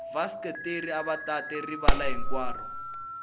vaseketeri ava tate rivala hinkwaro